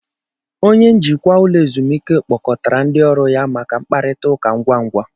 Onye njikwa ụlọ ezumike kpọkọtara ndị ọrụ ya maka mkparịta ụka ngwa ngwa